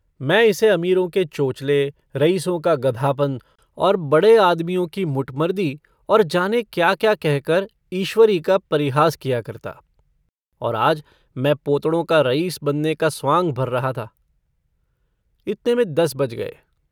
मैं इसे अमीरों के चोंचले, रईसों का गधापन, और बड़े आदमियों की मुटमरदी और जाने क्या-क्या कहकर ईश्वरी का परिहास किया करता। और आज मैं पौतड़ों का रईस बनने का स्वांँग भर रहा था। इतने में दस बज गये।